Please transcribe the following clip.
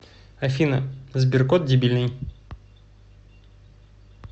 афина сберкот дебильный